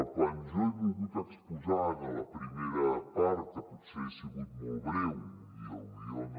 quan jo he volgut exposar en la primera part que potser he sigut molt breu i potser no